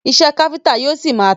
Iṣẹ́ káfíńńtà yóò ṣi máa tà.